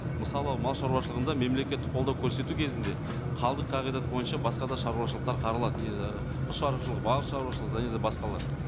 мысалы мал шаруашылығында мемлекеттік қолдау көрсету кезінде қалдық қағидат бойынша басқа да шаруашылықтар қаралады құс шаруашылығы балық шаруашылығы және де басқалар